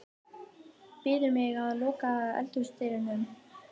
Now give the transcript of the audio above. Biður mig að loka eldhúsdyrunum.